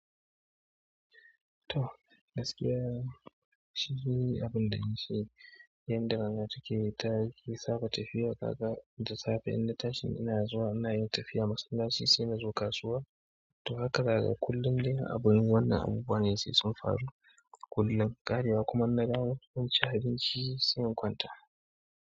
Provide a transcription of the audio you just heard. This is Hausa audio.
To, gaskiya shi shi ne abun da na ce, yan da rana take ta yake saba tafiya kaga da safe in na tashin ina zuwa ina yin tafiya, masallaci sai na zo kasuwa. To haka gaga kullum dai abubuwan wannan abubuwa ne sai sun faru kullum, ƙarewa kuma na gama ci abinci sai in kwanta.